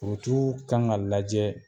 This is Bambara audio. kan ka lajɛ